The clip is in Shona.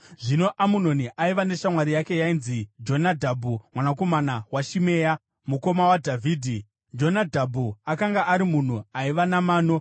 Zvino Amunoni aiva neshamwari yake yainzi Jonadhabhu mwanakomana waShimea, mukoma waDhavhidhi. Jonadhabhu akanga ari munhu aiva namano.